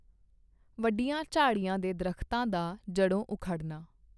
ਵੱਡੀਆਂ ਝਾੜੀਆਂ ਦੇ ਦਰੱਖਤਾਂ ਦਾ ਜੜੋਂ ਉਖੜਨਾ।